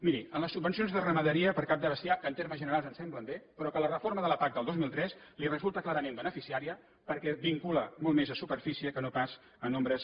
miri en les subvencions de ramaderia per cap de bestiar que en termes generals ens semblen bé però que la reforma de la pac del dos mil tres els resulta clarament beneficiària perquè ho vincula molt més a superfície que no pas a nombres